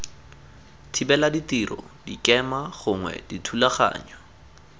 thibela ditiro dikema gongwe dithulaganyo